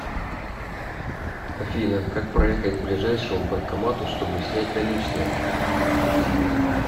афина как проехать к ближайшему банкомату чтобы снять наличные